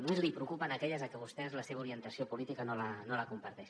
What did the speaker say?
només li preocupen aquelles que vostè per la seva orientació política no les comparteix